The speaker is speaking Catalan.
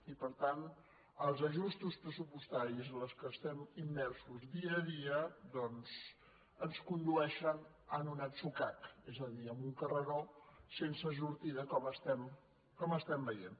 i per tant els ajustos pressupostaris en els quals estem immersos dia a dia doncs ens condueixen a un atzucac és a dir a un car·reró sense sortida com estem veient